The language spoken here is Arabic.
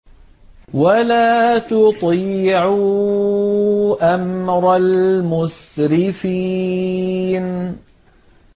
وَلَا تُطِيعُوا أَمْرَ الْمُسْرِفِينَ